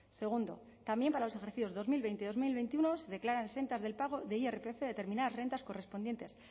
segundo también para los ejercicios dos mil veinte y dos mil veintiuno se declaran exentas del pago de irpf determinadas rentas correspondientes